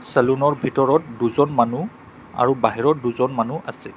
চেলুনৰ ভিতৰত দুজন মানুহ আৰু বাহিৰত দুজন মানুহ আছে।